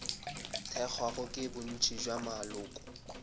thekgwago ke bontši bja maloko